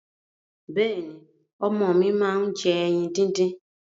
Bẹ́ẹ̀ni, ọmọ mi máa ń jẹ ẹyin díndín.